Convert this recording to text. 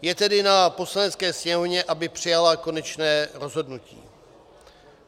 Je tedy na Poslanecké sněmovně, aby přijala konečné rozhodnutí.